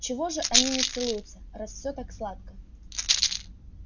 чего же они не целуются раз все так сладко